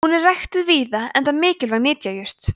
hún er ræktuð víða enda mikilvæg nytjajurt